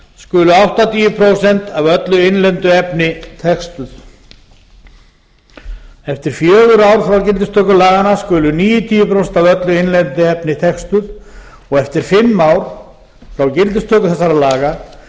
skulu áttatíu prósent af öllu innlendu efni textuð fjórða eftir fjögur ár frá gildistöku laganna skulu níutíu prósent af öllu innlendu efni textuð og fimmta eftir fimm ár frá gildistöku laganna